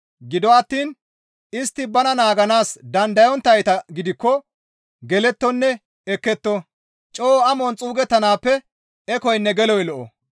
Gido attiin istti bana naaganaas dandayonttayta gidikko gelettonne ekketto; coo amon xuugetanaappe ekoynne geloy lo7o.